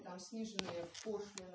ниже вкусно